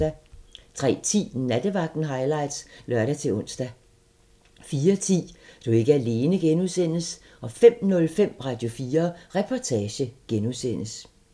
03:10: Nattevagten highlights (lør-ons) 04:10: Du er ikke alene (G) 05:05: Radio4 Reportage (G)